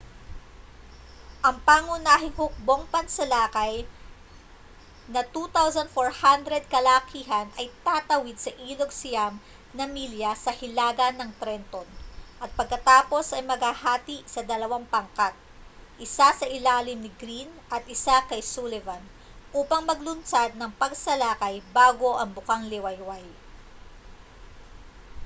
ang pangunahing hukbong pansalakay na 2,400 kalalakihan ay tatawid sa ilog siyam na milya sa hilaga ng trenton at pagkatapos ay maghahati sa dalawang pangkat isa sa ilalim ni greene at isa kay sullivan upang maglunsad ng pagsalakay bago ang bukang-liwayway